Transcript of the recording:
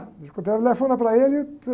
telefona pra ele e...